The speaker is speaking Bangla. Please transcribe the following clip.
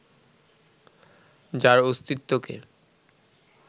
যার অস্তিত্বকে